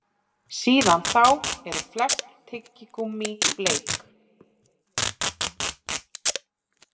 Síðan þá eru flest tyggigúmmí bleik.